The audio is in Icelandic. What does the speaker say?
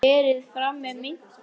Þannig hófust kynni okkar Kalla.